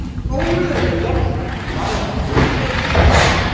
Gefn, hvar er dótið mitt?